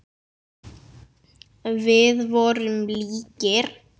Við vorum líkir.